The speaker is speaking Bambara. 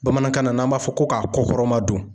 Bamanankan na n'an b'a fɔ ko k'a kɔ kɔrɔma don.